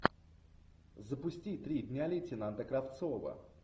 запусти три дня лейтенанта кравцова